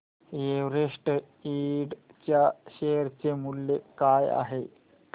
Everest Ind च्या share चे मूल्य काय आहे